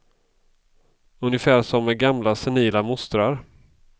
Ungefär som med gamla senila mostrar.